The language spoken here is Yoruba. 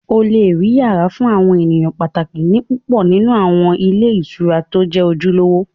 O lè rí yàrá fún àwọn èèyàn pàtàkì ní púpọ̀ nínú àwọn ilé ìtura tó jẹ́ ojúlówó